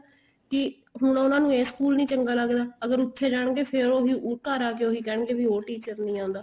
ਕੀ ਹੁਣ ਉਹਨਾ ਨੂੰ ਇਸ ਸਕੂਲ ਨਹੀਂ ਚੰਗਾ ਲੱਗਦਾ ਅਗਰ ਉੱਥੇ ਜਾਣਗੇ ਫ਼ੇਰ ਉਹੀ ਘਰ ਆਕੇ ਉਹੀ ਕਹਿਣਗੇ ਵੀ ਉਹ teacher ਨਹੀਂ ਆਂਦਾ